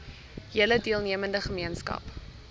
hele deelnemende gemeenskap